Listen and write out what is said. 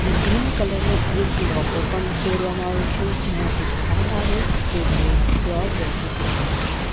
એક green colour નો એક લૉગો પણ ડોરવામાં આવે છે જેનાથી ખ્યાલ આવે કે તે પ્યોર વેજીતેરિયન છે.